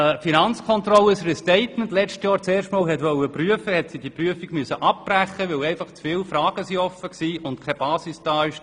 Als die Finanzkontrolle das Restatement letztes Jahr erstmals prüfen wollte, musste sie diese Prüfung abbrechen, weil einfach zu viele Fragen offen waren und die Basis fehlte.